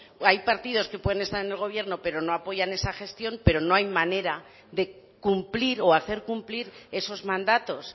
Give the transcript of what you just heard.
hay partidos que pueden estar en el gobierno pero no apoyan esa gestión pero no hay manera de cumplir o hacer cumplir esos mandatos